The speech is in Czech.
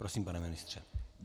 Prosím, pane ministře.